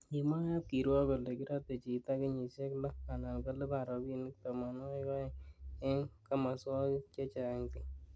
Kimwa kab kirwok kole kiratei chito kenyishe lo anan kolipan robinik tamanwakik aeng eng kimoswokik chechang bik